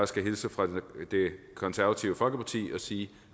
skal hilse fra det konservative folkeparti og sige